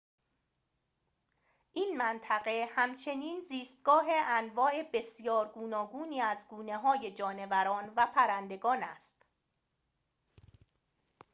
این منطقه همچنین زیستگاه انواع بسیار گوناگونی از گونه‌های جانوران و پرندگان است